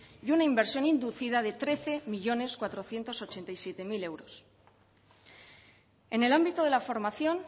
y una inversión inducida de trece millónes cuatrocientos ochenta y siete mil euros en el ámbito de la formación